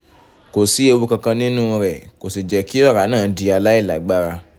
kò sí ewu kankan nínú rẹ̀ kò sì jẹ́ kí ọ̀rá náà di aláìlágbára